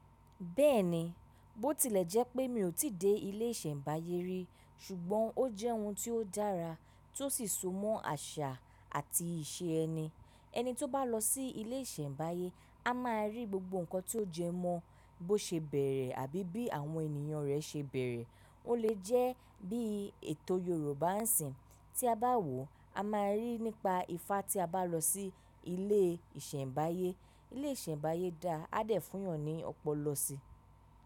Bẹ́ẹ̀ni, bó tilẹ̀ jẹ́ pé mi ò tí dé ilé ìṣẹ̀mbáyé rí, ṣùgbọ́n ó jẹ́ ohun tí ó dára tí ó sì so mọ́ àṣà àti ìṣe ẹni. Ẹni tí ó bá lọ sí ilé ìṣẹ̀mbáyé, a máa rí gbogbo nǹkan tí ó jẹ mọ́ bó ṣe bẹ̀rẹ̀ àbí bí àwọn ènìyàn rẹ̀ ṣe bẹ̀rẹ̀. Ó lè jẹ́ bí ètò Yorùbá ń sìn. Tí a bá wò, a máa ríi nípa ifá tí a bá lọ sí ilé ìṣẹ̀mbáyé. Ilé ìṣẹ̀mbáyé dá á dẹ̀ fún yàn ní ọ̀pọ̀lọ̀ sí.